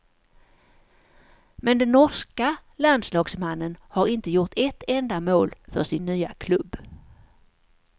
Men den norska landslagsmannen har inte gjort ett enda mål för sin nya klubb.